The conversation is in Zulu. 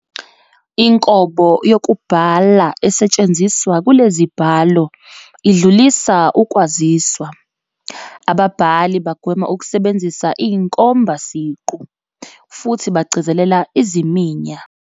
Inkobo yokubhala esetshenziswa kulezibhalo idlulisa ukwaziswa, ababhali bagwema ukusebenzisa inkomba siqu, futhi bagcizelela iziminya.